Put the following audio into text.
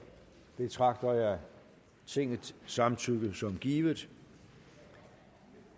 betragter jeg tingets samtykke som givet